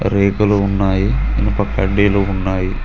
రేకులు ఉన్నాయి ఇనుప కడ్డీలు ఉన్నాయి.